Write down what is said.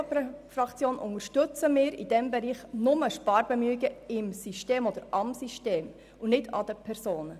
Die EVP-Fraktion unterstützt in diesem Bereich nur Sparbemühungen im System oder am System und nicht an den Personen.